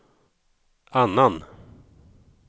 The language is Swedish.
annan